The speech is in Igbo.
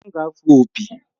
M ga-afụ opi